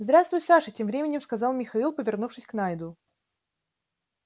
здравствуй саша тем временем сказал михаил повернувшись к найду